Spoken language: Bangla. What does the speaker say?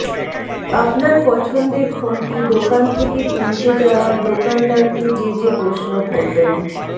আপনার পছন্দের ফোনটি দোকান থেকে কিনতে যাওয়ার দোকানদারকে যে যে প্রশ্ন করবেন